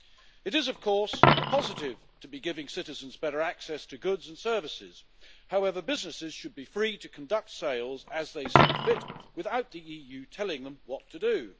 It is of course a positive to be giving citizens better access to goods and services, however businesses should be free to conduct sales as they see fit, without the EU telling them what to do.